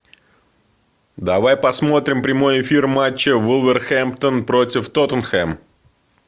давай посмотри прямой эфир матча вулверхэмптон против тоттенхэм